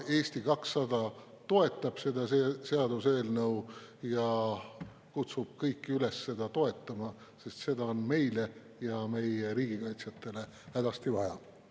Eesti 200 toetab seda seaduseelnõu ja kutsub kõiki üles seda toetama, sest seda on meile ja meie riigi kaitsjatele hädasti vaja.